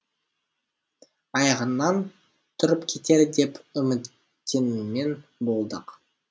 аяғынан тұрып кетер деп үміттенумен болдық